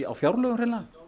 á fjárlögum